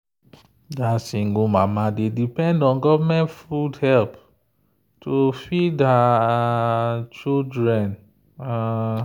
that single mama dey depend on government food help to feed her um children. um